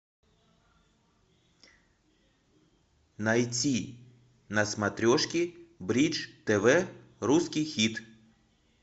найти на смотрешке бридж тв русский хит